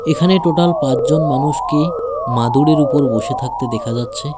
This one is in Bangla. এখানে টোটাল পাঁচজন মানুষকে মাদুরের উপর বসে থাকতে দেখা যাচ্ছে।